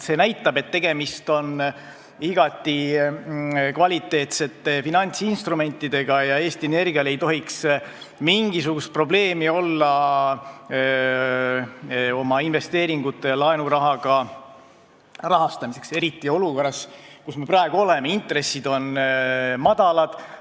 See näitab, et tegemist on igati kvaliteetsete finantsinstrumentidega ja Eesti Energial ei tohiks olla mingisugust probleemi oma investeeringute laenurahaga rahastamisel, eriti olukorras, kus me praegu oleme, et intressid on madalad.